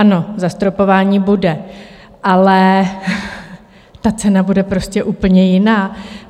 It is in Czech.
Ano, zastropování bude, ale ta cena bude prostě úplně jiná.